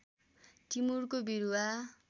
टिमुरको बिरुवा